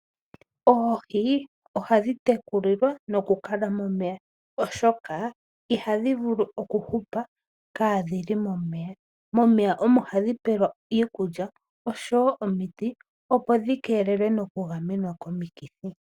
Oohi ohadhi tekulilwa nokukala momeya oshoka ihadhi vulu okuhupa kaadhi li momeya. Momeya omo ha dhi pelwa iikulya osho wo omiti opo dhi keelelwe nokugamenwa komikithi.